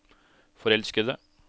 forelskede